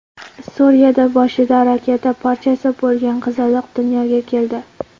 Suriyada boshida raketa parchasi bo‘lgan qizaloq dunyoga keldi.